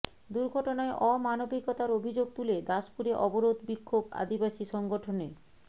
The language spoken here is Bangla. দুর্ঘটনায় অমানবিকতার অভিযোগ তুলে দাসপুরে অবরোধ বিক্ষোভ আদিবাসী সংগঠনের